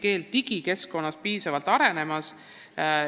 Kas see valdkond areneb piisavalt?